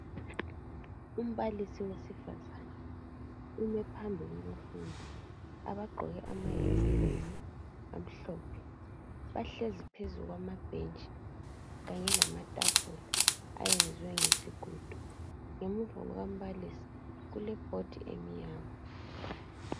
Umbalisi wesifazana ume phambi kwabafundi abagqoke amayunifomu amhlophe . Bahlezi phezu kwamabhentshi kanye lamatafula ayenzwe ngesigodo. Ngemuva kwambalisi kulebhodi emnyama.